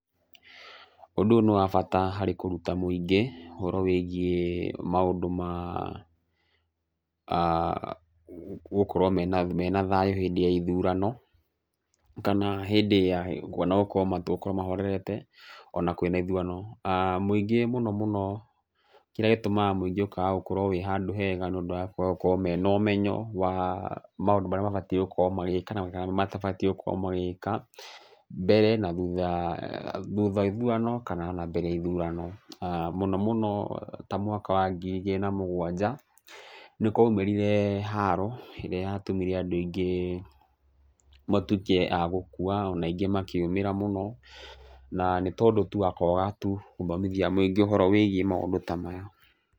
Ũndũ ũyũ nĩ wabata harĩ kũruta mũingĩ, ũhoro wĩgiĩ maũndũ ma gũkorwo mena thayũ hĩndĩ ya ithurano, kana hĩndĩ ya, gũkorwo mahorerete ona kwĩna ithurano. Mũingĩ mũno mũno, kĩrĩa gĩtũmaga mũingĩ ũkaga gũkorwo wĩ handũ hega nĩ ũndũ wa kwaga gũkorwo mena ũmenyo wa mũndũ marĩa matabatiĩ gũkorwo magĩka, na marĩa matabatiĩ gũkorwo magĩka thutha wa ithurano kana ona mbere ya ithurano. Mũno mũno ta mwaka wa ngiri igĩrĩ na mũgwanja nĩ kwaumĩrire haro ĩrĩa yatũmĩre andũ aingĩ matuĩke a gũkua ona aingĩ makĩũmĩra mũno na nĩ o ũndũ wa kwaga tu gũthomithia mũingĩ ũhoro wa maũndũ ta maya.